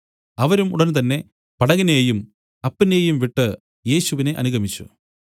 അവരും ഉടൻ തന്നെ പടകിനെയും അപ്പനെയും വിട്ടു യേശുവിനെ അനുഗമിച്ചു